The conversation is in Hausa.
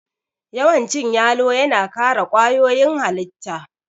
Yawan cin yalo yana kare kwayoyin halitta